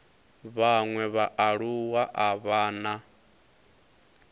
vhaṅwe vhaaluwa a vha na